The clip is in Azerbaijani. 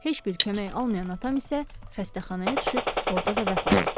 Heç bir kömək almayan atam isə xəstəxanaya düşüb, orada da vəfat etdi.